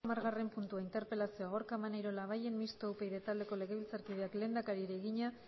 gai zerrendako hamargarren puntuen interpelazioa gorka maneiro labayen mistoa upyd taldeko legebiltzarkideak lehendakariari egina